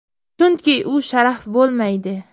Chunki u sharaf bo‘lmaydi.